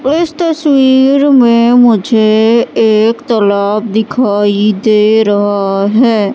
इस तस्वीर में मुझे एक तलाब दिखाई दे रहा है।